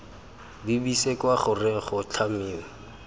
lebise kwa goreng go tlhamiwe